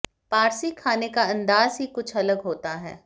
पारसी खाने का अंदाज ही कुछ अलग होता है